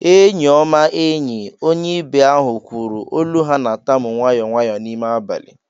"Eenyi ọma, enyi," onye ibe ahụ kwuru, olu ha na-atamu nwayọ nwayọ n'ime abalị